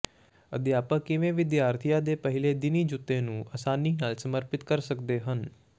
ਅਧਿਆਪਕ ਕਿਵੇਂ ਵਿਦਿਆਰਥੀਆਂ ਦੇ ਪਹਿਲੇ ਦਿਨੀ ਜੁੱਤੇ ਨੂੰ ਆਸਾਨੀ ਨਾਲ ਸਮਰਪਿਤ ਕਰ ਸਕਦੇ ਹਨ